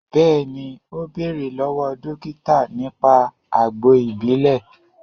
Bẹẹni, o bẹ̀rẹ̀ lọ́wọ́ dókítà nípa àgbo ìbílè